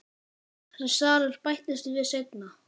Þessi salur bættist við seinna.